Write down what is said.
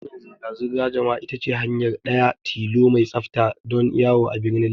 Hanyar zirga zirgar jama'a ita ce hanya ɗaya tilo mai tsafta don yawo a birnin Legas.